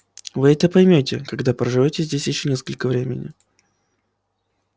вы это поймёте когда проживёте здесь ещё несколько времени